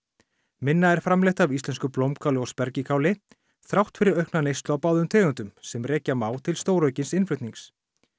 minna er framleitt af íslensku blómkáli og þrátt fyrir aukna neyslu á báðum tegundum sem rekja má til stóraukins innflutnings